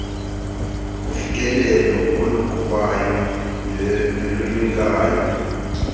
kufikelelo oluqhubayo nolunyukayo